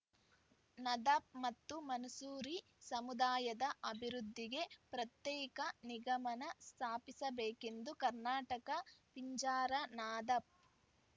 ನದಾಫ್‌ ಮತ್ತು ಮನ್ಸೂರಿ ಸಮುದಾಯದ ಅಭಿವೃದ್ಧಿಗೆ ಪ್ರತ್ಯೇಕ ನಿಗಮನ ಸ್ಥಾಪಿಸಬೇಕೆಂದು ಕರ್ನಾಟಕ ಪಿಂಜಾರ ನದಾಫ್‌